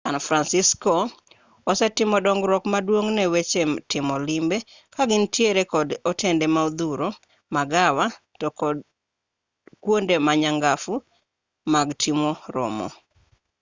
san francisco osetimo dongruok maduong' ne weche timo limbe ka gintiere kod otende modhuro magawa to kod kuonde ma nyangafu mag timo romo